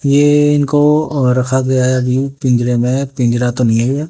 ये इनको और रखा गया है अभी पिंजरे में पिंजरा तो नहीं है ये।